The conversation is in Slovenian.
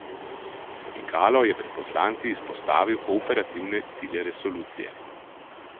Pikalo je pred poslanci izpostavil operativne cilje resolucije.